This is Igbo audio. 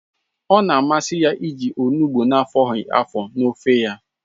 Ọ na-amasị ya iji olugbụ afọghi afọ n'ofe ya